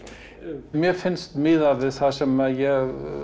mér finnst miðað við það sem ég